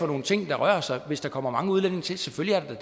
nogle ting der rører sig hvis der kommer mange udlændinge til selvfølgelig er der